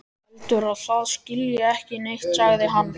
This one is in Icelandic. Heldur að það skilji ekki neitt, sagði hann.